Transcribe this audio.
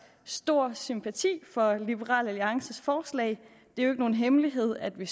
stor sympati for liberal alliances forslag det er jo ikke nogen hemmelighed at vi